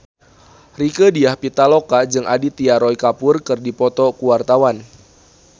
Rieke Diah Pitaloka jeung Aditya Roy Kapoor keur dipoto ku wartawan